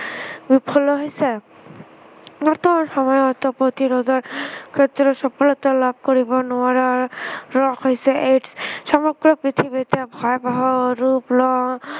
Buffalo হৈছে। বৰ্তমান সময়ত প্ৰতিৰোধৰ ভিতৰত সফলতা লাভ কৰিব নোৱাৰা ৰোগ হৈছে AIDS । সমগ্ৰ পৃথিৱীতে ভয়াৱহ ৰূপ লোৱা